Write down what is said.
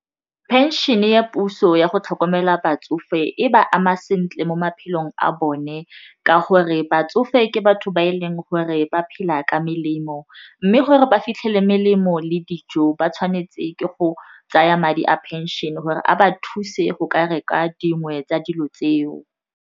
Phenšene ya puso ya go tlhokomela batsofe e ba ama sentle mo maphelong a bone ka gore batsofe ke batho ba e leng gore ba phela ka melemo mme gore ba fitlhele melemo le dijo ba tshwanetse ke go tsaya madi a pension gore a ba thuse go ka reka dingwe tsa dilo tseo.